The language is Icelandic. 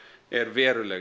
er veruleg